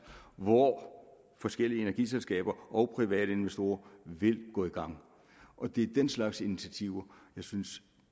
hvor forskellige energiselskaber og private investorer vil gå i gang og det er den slags initiativer jeg synes